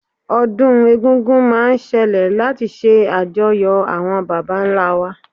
ọdun egungun ma n sẹle lati ṣe ajòyó awọn bàbá ńlá wa